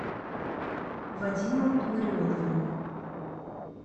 вадимом ларионовым